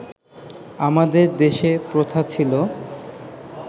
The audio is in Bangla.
আমাদের দেশে প্রথা ছিল